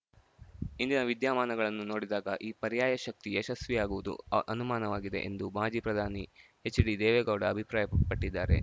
ಇಂದಿನ ವಿದ್ಯಮಾನಗಳನ್ನು ನೋಡಿದಾಗ ಈ ಪರ್ಯಾಯ ಶಕ್ತಿ ಯಶಸ್ವಿಯಾಗುವುದು ಅನುಮಾನವಾಗಿದೆ ಎಂದು ಮಾಜಿ ಪ್ರಧಾನಿ ಎಚ್‌ಡಿ ದೇವೇಗೌಡ ಅಭಿಪ್ರಾಯಪಟ್ಟಿದ್ದಾರೆ